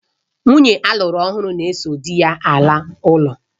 Nwunye alụru ọhụrụ na-eso dị ya ala ụlọ